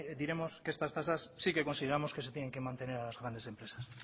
diremos que estas tasas sí que consideramos que se tienen que mantener a las grandes empresas